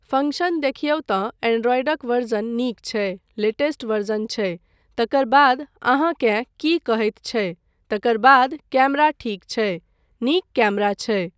Function देखियौ तँ एंड्राइडक वर्ज़न नीक छै, लेटेस्ट वर्ज़न छै। तकर बाद अहाँकेँ की कहैत छै, तकर बाद कैमरा ठीक छै, नीक कैमरा छै।